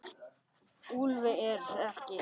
Úlfi er ekki skemmt.